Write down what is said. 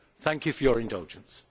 Thank you for your indulgence.